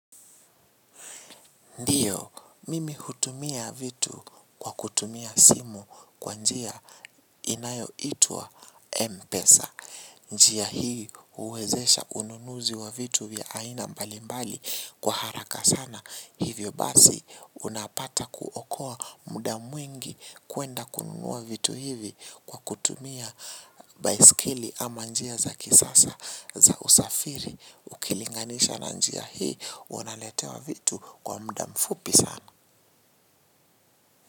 Ndiyo, mimi hutumia vitu kwa kutumia simu kwa njia inayoitwa Mpesa. Njia hii huwezesha ununuzi wa vitu vya aina mbali mbali kwa haraka sana. Hivyo basi unapata kuokoa muda mwingi kuenda kununua vitu hivi kwa kutumia baisikeli ama njia za kisasa za usafiri. Ukilinganisha na njia hii, unaletewa vitu kwa muda mfupi sana.